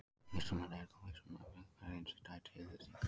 Vísindamenn eru þó vissir um að uppvakningar greinast í tvær deilitegundir.